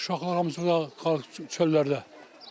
Uşaqlar hamısı çöllərdə.